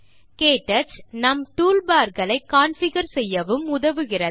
க்டச் நாம் டூல்பார் களை கான்ஃபிகர் செய்யவும் உதவுகிறது